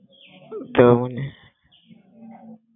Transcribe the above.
তো মনে